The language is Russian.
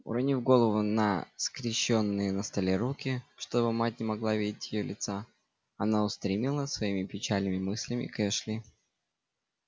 уронив голову на скрещённые на столе руки чтобы мать не могла видеть её лица она устремилась своими печальными мыслями к эшли